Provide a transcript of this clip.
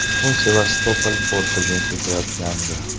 U Sevastopol portiga ketayotgandi.